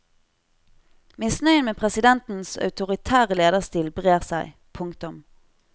Misnøyen med presidentens autoritære lederstil brer seg. punktum